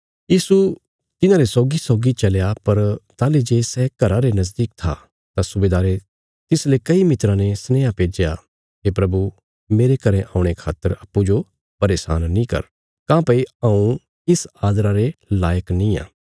यीशु तिन्हारे सौगीसौगी चलया पर ताहली जे सै घरा रे नजदीक था तां सुबेदारे तिसले कई मित्राँ ने सनेहा भेज्या हे प्रभु मेरे घरें औणे खातर अप्पूँजो परेशान नीं कर काँह्भई हऊँ इस आदरा रे लायक निआं